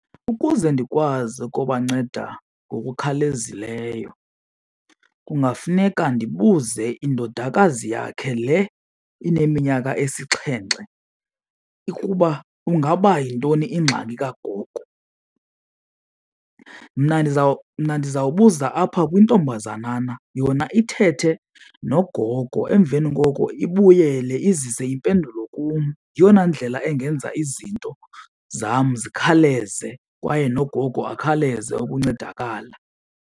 Ukuze ndikwazi ukubanceda ngokukhawulezileyo kungafuneka ndibuze indodakazi yakhe le ineminyaka esixhenxe ukuba ingaba yintoni ingxaki kagogo. Mna ndiza ndizawubuza apha kwintombazanana yona ithethe nogogo, emveni koko ibuyele izise impendulo kum. Yeyona ndlela engenza izinto zam zikhawuleze kwaye nogogo akhawuleze ukuncedakala.